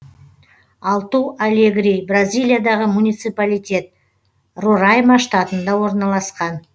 алту алегри бразилиядағы муниципалитет рорайма штатында орналасқан